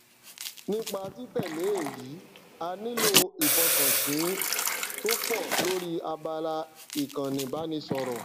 nípa títẹlé èyí a nílò ìfọkansìnn tó pọ lórí abala ìkànni ìbánisọrọ